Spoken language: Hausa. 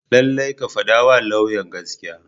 Lallai ka fadawa lauyan gaskiya.